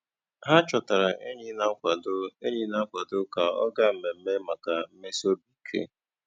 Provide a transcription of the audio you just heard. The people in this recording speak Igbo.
Há chọtárá ényí nà-àkwádó ényí nà-àkwádó kà ọ́ gáá mmèmme màkà mmèsì óbì íké.